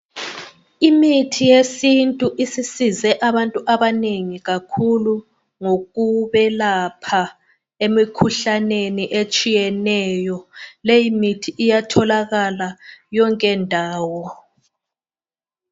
Imithi yesintu sisize abantu abanengi kakhulu ngokwelapha abantu emikhuhlaneni etshiyeneyo. Leyo mithi iyatholakala yonke ndawo.